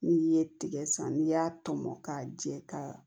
N'i ye tigɛ san n'i y'a tɔmɔ ka jɛ ka